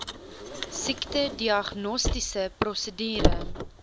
siekte diagnostiese prosedure